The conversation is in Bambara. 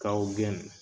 Kaw gɛn